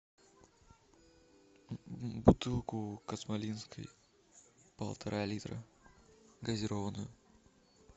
бутылку космолинской полтора литра газированную